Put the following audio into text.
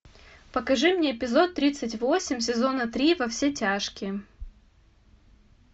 покажи мне эпизод тридцать восемь сезона три во все тяжкие